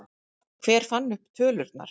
Hver fann upp tölurnar?